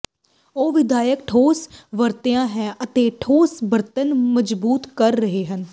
ਉਹ ਵਿਆਪਕ ਠੋਸ ਵਰਤਿਆ ਹੈ ਅਤੇ ਠੋਸ ਬਣਤਰ ਮਜਬੂਤ ਕਰ ਰਹੇ ਹਨ